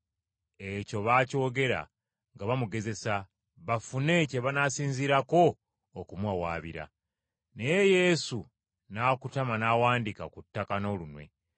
Ekyo baakyogera nga bamugezesa, bafune kye banaasinziirako okumuwawaabira. Naye Yesu n’akutama n’awandiika ku ttaka n’olunwe.